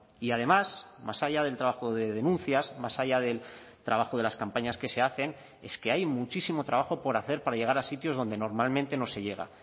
y además más allá del trabajo de denuncias más allá del trabajo de las campañas que se hacen es que hay muchísimo trabajo por hacer para llegar a sitios donde normalmente no se llega